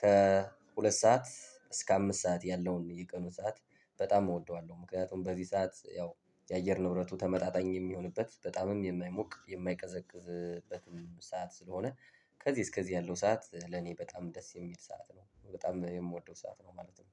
ከሁለት ሰዓት እስከ አምስት ሰዓት ያለውን የቀኑን ሰዓት በጣም እወደዋለሁ። ምክንያቱም በዚህ ሰዓት ያው የአየር ንብረቱ ተመጣጣኝ የሚሆንበት በጣምም የማይሞቅ የማይቀዘቅዝበት ሰዓት ስለሆነ። ከዚህ እስከዚህ ያለው ሰዓት ለኔ በጣም ደስ የሚል ሰዓት ነው በጣም የምወደው ሰዓት ነው ማለት ነው።